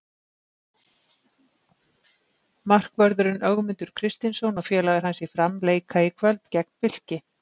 Markvörðurinn Ögmundur Kristinsson og félagar hans í Fram leika í kvöld gegn Fylki.